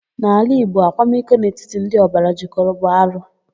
N'ala Igbo, akwamiko n'etiti ndị ọbara jịkọrọ bụ arụ.